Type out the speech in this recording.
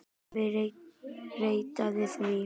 Afi reddaði því.